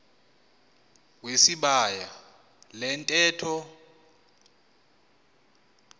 wesibaya le ntetho